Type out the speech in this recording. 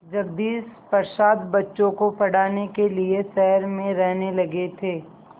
जगदीश प्रसाद बच्चों को पढ़ाने के लिए शहर में रहने लगे थे